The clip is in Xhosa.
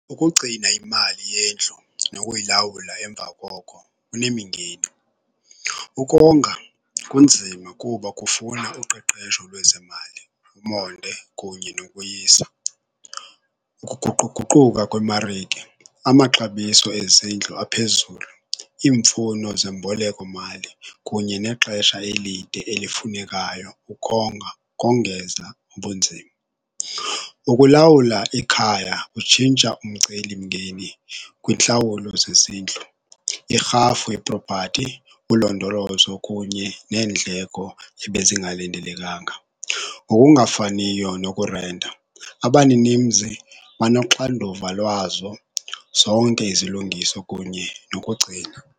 Ukugcina imali yendlu nokuyilawula emva koko kunemingeni. Ukonga kunzima kuba kufuna uqeqesho lwezemali, umonde kunye nokoyisa. Ukuguquguquka kwemarike, amaxabiso ezindlu aphezulu, iimfuno zembolekomali kunye nexesha elide elifunekayo ukonga kongeza ubunzima. Ukulawula ikhaya kutshintsha umcelimngeni kwintlawulo zezindlu, iirhafu yepropati, ulondolozo kunye neendleko ebezingalindelekanga, ngokungafaniyo nokurenta, abaninimzi banoxanduva lwazo zonke izilungiso kunye nokugcina.